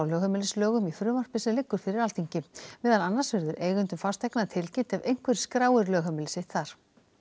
lögheimilislögum í frumvarpi sem liggur fyrir Alþingi meðal annars verður eigendum fasteigna tilkynnt ef einhver skráir lögheimili sitt þar